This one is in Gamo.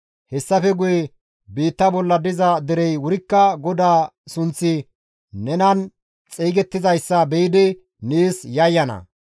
Hessafe guye biitta bolla diza derey wurikka GODAA sunththi nenan xeygettizayssa be7idi nees yayyana.